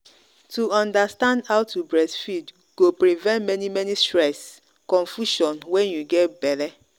to understand how to breastfeed go prevent many many stress and confusion when you get belle.